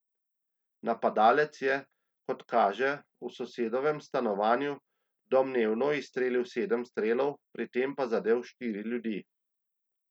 Napadalec je, kot kaže, v sosedovem stanovanju domnevno izstrelil sedem strelov, pri tem pa zadel štiri ljudi.